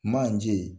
Manje